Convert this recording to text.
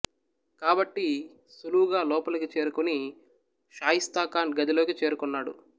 కాబట్టి సులువుగా లోపలికి చేరుకొని షాయిస్తా ఖాన్ గదిలోకి చేరుకొన్నాడు